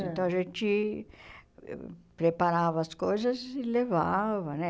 Então a gente preparava as coisas e levava, né?